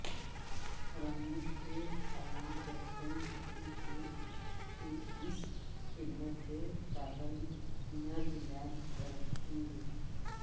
حراموش کے عوام کیپٹن شفیع کی اس خدمت کو تادم مرگ یاد رکھیںینگے